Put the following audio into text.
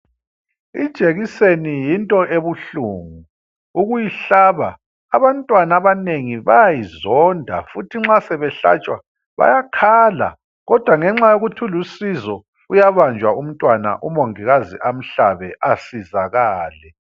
Ijekiseni yinto ebuhlungu ukuyihlaba. Abantwana abanengi bayayizonda futhi nxa sebehlatshwa bayakhala, kodwa ngenxa yokuthi ilusizo uyabanjwa umntwana umongikazi amhlabe asizakale.